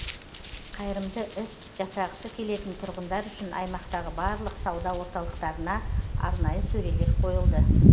қайырымды іс жасағысы келетін тұрғындар үшін аймақтағы барлық сауда орталықтарына арнайы сөрелер қойылды